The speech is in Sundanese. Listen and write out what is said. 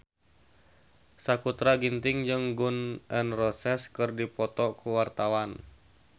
Sakutra Ginting jeung Gun N Roses keur dipoto ku wartawan